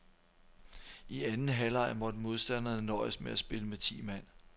I anden halvleg måtte modstanderne nøjes med at spille med ti mand.